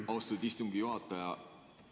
Aitäh, austatud istungi juhataja!